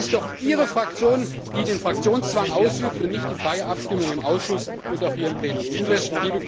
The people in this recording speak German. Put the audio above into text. Es ist doch Ihre Fraktion, die den Fraktionszwang ausübt und die freie Abstimmung im Ausschuss und auch hier im Plenum nicht zulässt.